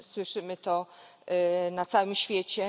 Słyszymy to na całym świecie.